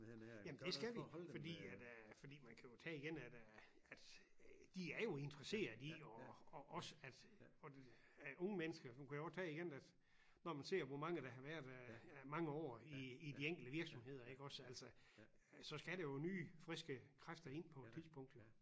Jamen det skal vi fordi at øh fordi man kan jo tage igen at øh at de er jo interesserede i og og også at at unge mennesker man kunne godt tage igen at når man ser hvor mange der har været øh mange år i i de enkelte virksomheder iggås altså så skal der jo nye friske kræfter ind på et tidspunkt jo